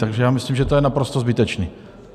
Takže já myslím, že to je naprosto zbytečné.